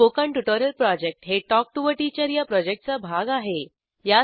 spoken tutorial project हे talk to teacher या प्रॉजेक्टचा भाग आहे